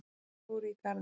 Þeir fóru í garðinn.